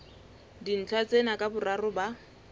dintlha tsena ka boraro ba